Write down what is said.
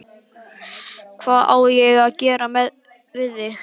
Hvað á ég að gera við því?